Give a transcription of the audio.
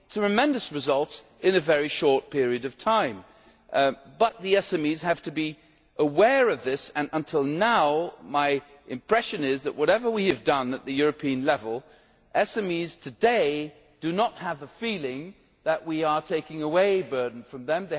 create tremendous results in a very short period of time. But the SMEs have to be aware of this, and until now my impression is that whatever we have done at the European level, SMEs today do not have the feeling that we are taking the burden away from